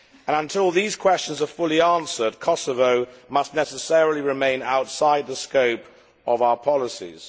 Until these questions are fully answered, Kosovo must necessarily remain outside the scope of our policies.